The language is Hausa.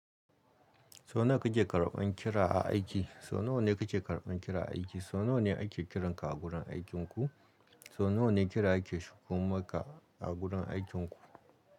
Sau nawa kike karɓan kira a aiki? Sau nawa ne kike karɓan kira a aiki? Sau nawa ne ake kiranka a gurin aikinku? Sau nawa ne kira yake shigo maka, a gurin aikinku?